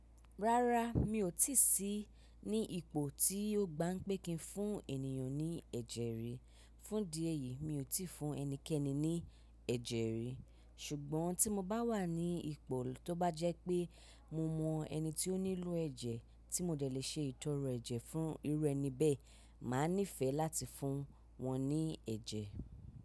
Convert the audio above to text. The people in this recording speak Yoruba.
Rárá, mi ò tí sí ní ipò tí yóò gba ń pé kí n fún ènìyàn ní ẹ̀jẹ̀ rí. Fún di ẹyìí mi ò tí fún ẹnikẹ́ni ní ẹ̀jẹ̀ rí. Ṣùgbọ́n tí mo bá wà ní ipò tó bá jẹ́ pé mo mọ ẹni tí ó nílò ẹ̀jẹ̀ tí mo dẹ̀ lè ṣe ìtọrọ ẹ̀jẹ̀ fún irú ẹni bẹ́ẹ̀, màá níìfẹ̀ láti fún wọn ní ẹ̀jẹ̀.